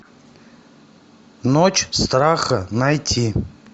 ночь страха найти